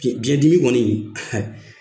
BIɲɛ, biɲɛ dimi kɔni